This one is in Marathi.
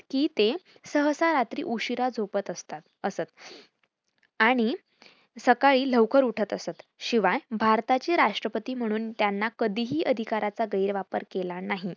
कि ते सहसा रात्री उशीरा झोपत असतात असत आणि सकाळी लवकर उठत असत. शिवाय भारताचे राष्ट्रपती म्हणून त्यांना कधीही अधिकाराचा गैर वापर केला नाही.